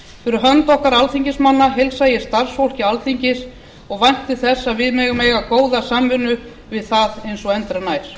fyrir hönd okkar alþingismanna heilsa ég starfsfólki alþingis og vænti þess að við megum eiga góða samvinnu við það eins og endranær